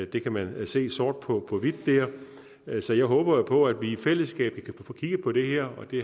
det kan man se sort på på hvidt der så jeg håber jo på at vi i fællesskab kan få kigget på det her og det